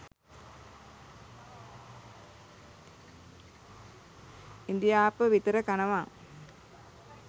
ඉඳිආප්ප විතර කනවා